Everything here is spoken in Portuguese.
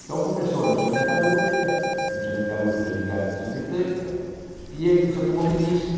Então começou a indústria metalúrgica, a indústria metalúrgica ligada à indústria mecânica, e a indústria automobilística.